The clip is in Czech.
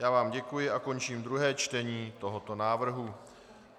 Já vám děkuji a končím druhé čtení tohoto návrhu.